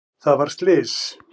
Það varð slys.